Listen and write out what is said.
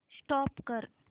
stop करा